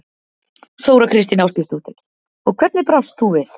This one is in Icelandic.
Þóra Kristín Ásgeirsdóttir: Og hvernig brást þú við?